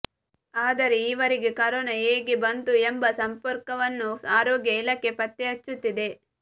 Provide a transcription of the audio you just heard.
ಆದರೆ ಇವರಗೆ ಕರೋನಾ ಹೇಗೆ ಬಂತು ಎಂಬ ಸಂಪರ್ಕವನ್ನು ಆರೋಗ್ಯ ಇಲಾಖೆ ಪತ್ತೆ ಹಚ್ಚುತ್ತಿದೆ